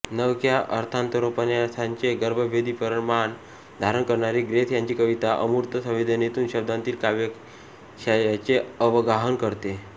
नवख्या अर्थांतरोपन्यासाचे मर्मभेदी परिमाण धारण करणारी ग्रेस यांची कविता अमूर्त संवेदनेतून शब्दांतीत काव्याशयाचे अवगाहन करते